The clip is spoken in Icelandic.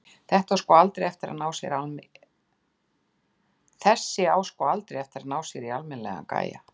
Þessi á sko aldrei eftir að ná sér í almennilegan gæja.